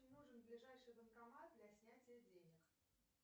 мне нужен ближайший банкомат для снятия денег